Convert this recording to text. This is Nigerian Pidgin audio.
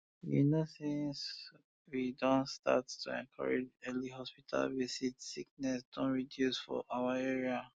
you know since we don start to encourage early hospital visit sickness don reduce for our area